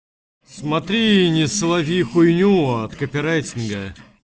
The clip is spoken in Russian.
смотри не слови хкйню от копирайтинга